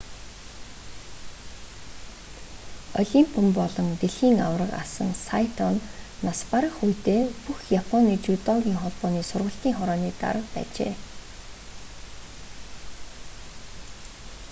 олимпийн болон дэлхийн аварга тамирчин асан сайто нь нас барах үедээ бүх японы жүдогийн холбооны сургалтын хорооны дарга байжээ